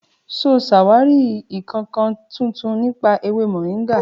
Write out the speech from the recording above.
Ṣo sàwàri ìkankan títùn nipa èwé mọ̀ríngà?